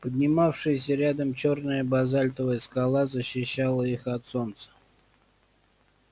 поднимавшаяся рядом чёрная базальтовая скала защищала их от солнца